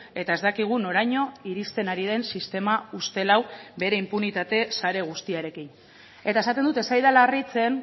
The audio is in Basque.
eta ez dakigu noraino iristen ari den sistema ustel hau bere inpunitate sare guztiarekin eta esaten dut ez zaidala harritzen